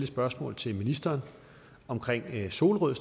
spørgsmål til ministeren om solrød